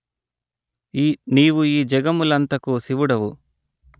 నీవు ఈ జగములంతకూ శివుడవు